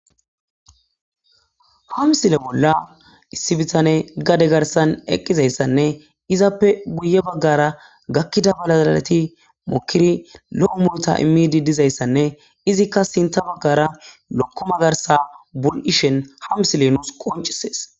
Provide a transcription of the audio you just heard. Hamsile bolla issi bitane gade garsan eqqizayssanne izappe guye baggara gakkida balaleti mokiri lo'o mulota immidi dizayssanne izikka sinta baggara lokkoma garsa bul'ishen ha misile nuus qoncisees.